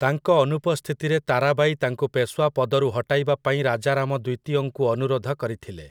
ତାଙ୍କ ଅନୁପସ୍ଥିତିରେ ତାରାବାଇ ତାଙ୍କୁ ପେଶୱା ପଦରୁ ହଟାଇବାପାଇଁ ରାଜାରାମ ଦ୍ୱିତୀୟଙ୍କୁ ଅନୁରୋଧ କରିଥିଲେ ।